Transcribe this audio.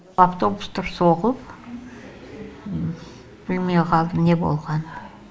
автобустар соғылып білмей қалдым не болғанын